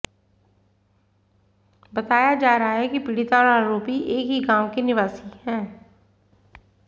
बताया जा रहा है कि पीड़िता और आरोपी एक ही गांव के निवासी हैं